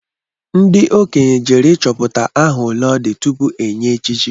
Ndị okenye jere ịchọpụta aha ole odi tupu e nye echichi